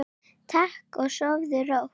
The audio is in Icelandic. Takk og sofðu rótt.